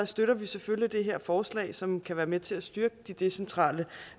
støtter vi selvfølgelig det her forslag som kan være med til at styrke de decentrale